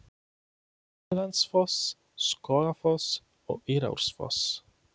Seljalandsfoss, Skógafoss og Írárfoss.